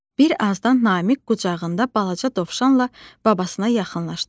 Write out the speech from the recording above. Bir azdan Namiq qucağında balaca dovşanla babasına yaxınlaşdı.